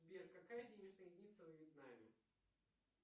сбер какая денежная единица во вьетнаме